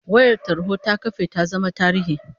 Wayar tarho ta kafe ta zama tarihi